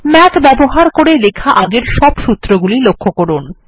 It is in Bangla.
মাথ ব্যবহার করে লেখা আগের সব সূত্রগুলি লক্ষ্য করুন